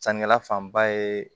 Sannikɛla fanba ye